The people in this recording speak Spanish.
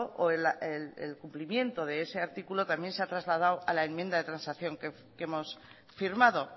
o el cumplimiento de ese artículo también se ha trasladado a la enmienda de transacción que hemos firmado